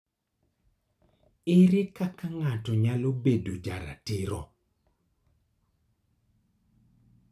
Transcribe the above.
Ere kaka ng'ato nyalo bedo jaratiro?